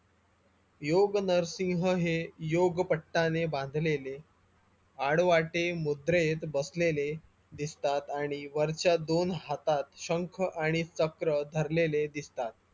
योग नरसिंह हे योग पट्टाने बांधलेले अडवाटे मुद्रेत बसलेले दिसतात आणि वरच्या दोन हातात शंख आणि चक्र धरलेले दिसतात